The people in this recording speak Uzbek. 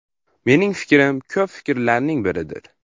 Mening fikrim ko‘p fikrlarning biridir.